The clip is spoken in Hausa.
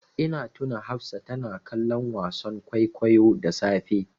Ina tuna Hafsa tana kallon wasan kwaikwayo da safe.